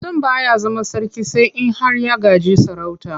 Mutum ba ya zama sarki sai in har ya gaji sarauta.